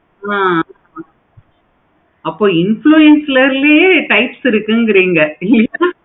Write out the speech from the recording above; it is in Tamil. ஆஹ் அப்போ influencer லையே type இருக்குகிறீங்க